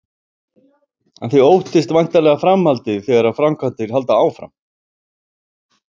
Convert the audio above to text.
En þið óttist væntanlega framhaldið þegar framkvæmdir halda áfram?